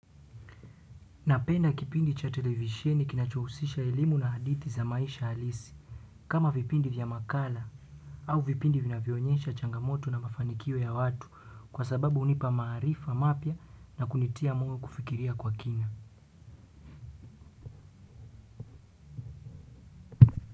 Napenda kipindi cha televisheni kinachohusisha elimu na hadithi ya maisha halisi, kama vipindi vya makala au vipindi vinavyoonyesha changamoto na mafanikio ya watu kwa sababu hunipa maarifa mapya na kunitia moyokufikiria kwa kina.